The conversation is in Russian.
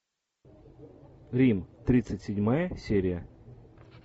рим тридцать седьмая серия